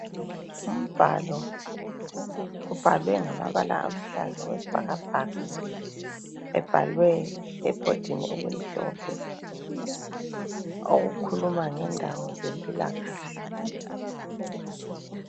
Umbhalo ubhalwe ngamabala aluhlaza okwesibhakabhaka ebhalwe ebhodini elimhlophe okukhuluma ngendawo zempilakahle.